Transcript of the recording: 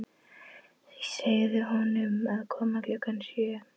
Segðu honum að koma klukkan sjö.